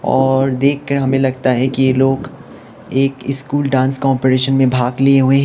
और देखकर हमें लगता है कि ये लोग एक स्कूल डांस कंपटीशन में भाग लिए हुएं हैं।